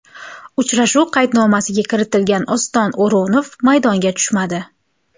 Uchrashuv qaydnomasiga kiritilgan Oston O‘runov maydonga tushmadi.